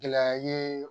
Gɛlɛya ye